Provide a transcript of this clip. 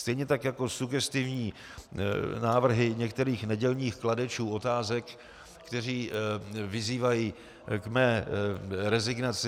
Stejně tak jako sugestivní návrhy některých nedělních kladečů otázek, kteří vyzývají k mé rezignaci.